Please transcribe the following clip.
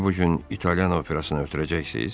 Məni bu gün İtalyan operasına ötürəcəksiz?